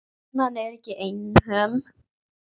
Konan er ekki einhöm.